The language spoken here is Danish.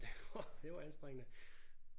Det var det var anstrengende